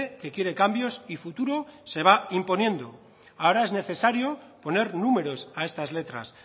que quiere cambios y futuro se va imponiendo ahora es necesario poner números a estas letras